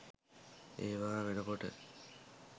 ඒවා වෙනකොට